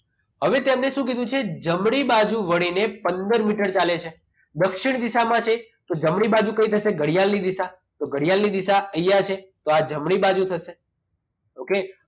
હવે તેમને સુ કીધું છે જમણી બાજુ વળીને પંદર મીટર ચાલે છે દક્ષિણ દિશા માં જે છે તો જમણી બાજુ થઈ કઈ થશે તો ઘડિયાળ ની દિશા તો ઘડિયાળની દિશા એ અહીંયા છે તો આ જમણી બાજુ થશે okay